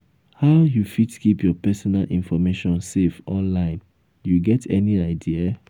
how you fit keep your personal information safe online you get any idea?